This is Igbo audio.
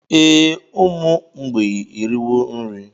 Ee, ụmụ mgbei eriwo nri